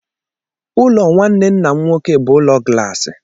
Ụlọ nwanne nna m nwoke bụ ụlọ glaasị.